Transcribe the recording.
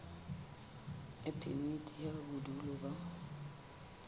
ya phemiti ya bodulo ba